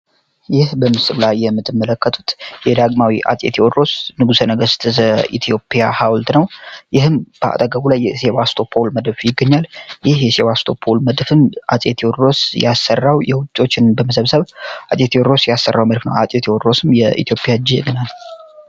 የአፄ ቴዎድሮስ ሐውልት ነው ከአጠገቡ የሴባስቶፖል ሀውልት ይገኛል ይህም አፄ ቴዎድሮስ ያሰራው ውጮችን በመሰበሰብ ያሰራው መድፍ ነው አፄ ቴዎድሮስም የኢትዮጵያ ጀግና ነው።